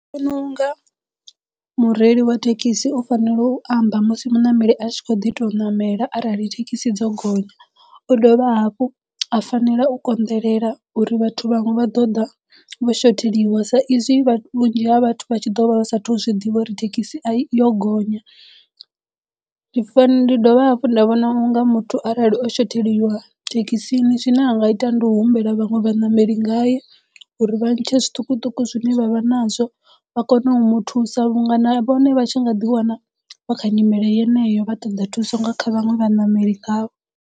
Ndi vhona unga mureili wa thekhisi u fanela u amba musi muṋameli a tshi kho ḓi to ṋamela arali thekhisi dzo gonya u dovha hafhu a fanela u konḓelela uri vhathu vhanwe vha ḓo ḓa vho shotheliwa sa izwi vhunzhi ha vhathu vha tshi ḓo vha sathu zwiḓivha uri thekhisi a i yo gonya. Ndi fani ndi dovha hafhu nda vhona unga muthu arali o shotheliwa thekhisini zwine a nga ita ndi u humbela vhaṅwe vhaṋameli ngaye uri vha ntshe zwiṱukuṱuku zwine vha vha nazwo vha kono u muthusa vhunga na vhone vha tshi nga ḓi wana vha kha nyimele yeneyo vha ṱoḓa thuso nga kha vhaṅwe vhaṋameli ngavho.